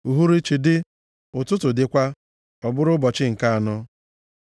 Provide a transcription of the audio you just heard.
Uhuruchi dị, ụtụtụ dịkwa. Ọ bụrụ ụbọchị nke anọ.